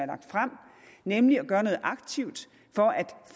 lagt frem nemlig at gøre noget aktivt for at